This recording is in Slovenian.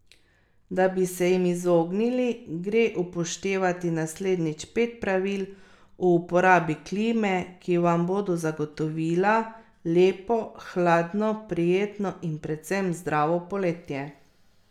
Da bi se jim izognili, gre upoštevati naslednjič pet pravil o uporabi klime, ki vam bodo zagotovila lepo, hladno, prijetno in predvsem zdravo poletje.